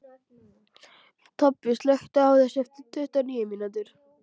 Tobbi, slökktu á þessu eftir tuttugu og níu mínútur.